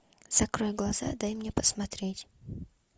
закрой глаза дай мне посмотреть